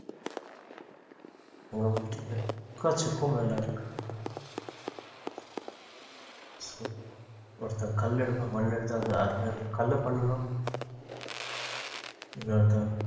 அங்க வந்துட்டு எக்கச்சக்கம் வேலை இருக்கு ஒருத்தர் கல் எடுக்கணும் மண் எடுத்து அது அதுல இருந்து கல்லை பண்ணணும் இன்னொருத்தர்